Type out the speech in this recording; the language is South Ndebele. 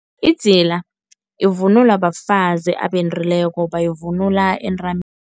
Idzila, ivunulwa bafazi abendileko bayivunula entameni.